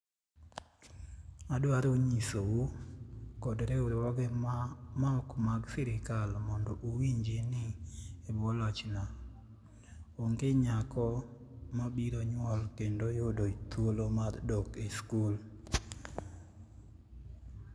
Adwaro nyisou, kod riwruoge maok mag sirkal mondo owinji, ni e bwo lochna, onge nyako mabiro nyuol kendo yudo thuolo mar dok e skul.